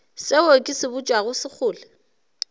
seo ke se botšago sekgole